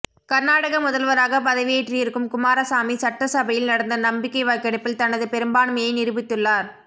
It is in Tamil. கர்நாடக முதல்வராக பதவியேற்று இருக்கும் குமாரசாமி சட்டசபையில் நடந்த நம்பிக்கை வாக்கெடுப்பில் தனது பெரும்பான்மையை நிரூபித்துள்ளார்